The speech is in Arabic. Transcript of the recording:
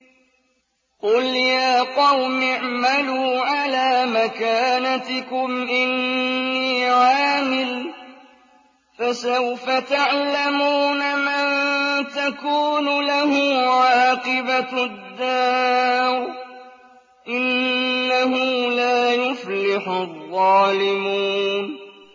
قُلْ يَا قَوْمِ اعْمَلُوا عَلَىٰ مَكَانَتِكُمْ إِنِّي عَامِلٌ ۖ فَسَوْفَ تَعْلَمُونَ مَن تَكُونُ لَهُ عَاقِبَةُ الدَّارِ ۗ إِنَّهُ لَا يُفْلِحُ الظَّالِمُونَ